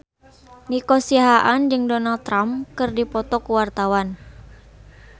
Nico Siahaan jeung Donald Trump keur dipoto ku wartawan